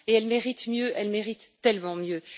Pourtant, elle mérite mieux, elle mérite tellement mieux.